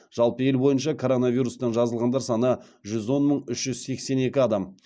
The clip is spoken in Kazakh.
жалпы ел бойынша коронавирустан жазылғандар саны жүз он мың үш жүз сексен екі адам